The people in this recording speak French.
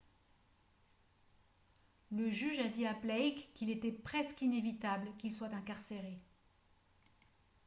le juge a dit à blake qu'il était « presque inévitable » qu'il soit incarcéré